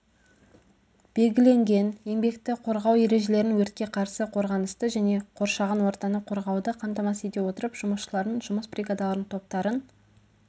белгіленген еңбекті қорғау ережелерін өртке қарсы қорғанысты және қоршаған ортаны қорғауды қамтамасыз ете отырып жұмысшылардың жұмыс бригадаларын топтарын